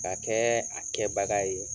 K'a kɛɛ a kɛbaga ye